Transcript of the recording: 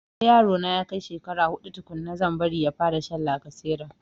Sai yaro na ya kai shekara huɗu tukunna zan fara bari ya sha lacasera